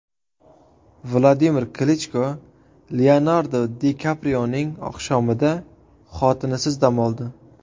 Vladimir Klichko Leonardo Di Kaprioning oqshomida xotinisiz dam oldi.